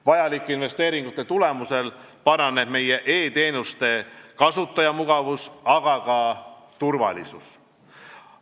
Vajalike investeeringute tulemusel paraneb meie e-teenuste kasutajamugavus, aga ka turvalisus.